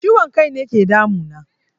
Ciwon kaine ke damu na